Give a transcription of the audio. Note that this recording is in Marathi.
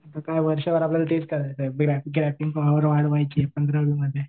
आता काय वर्षभर तेच करायचं आहे पंधरावीमध्ये